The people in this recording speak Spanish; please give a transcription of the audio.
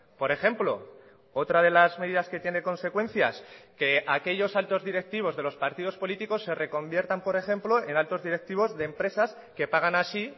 por ejemplo otra de las medidas que tiene consecuencias que aquellos altos directivos de los partidos políticos se reconviertan por ejemplo en altos directivos de empresas que pagan así